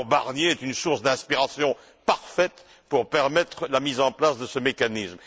Le rapport Barnier est une source d'inspiration parfaite pour permettre la mise en place de ce mécanisme.